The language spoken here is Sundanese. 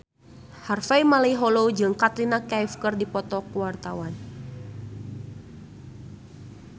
Harvey Malaiholo jeung Katrina Kaif keur dipoto ku wartawan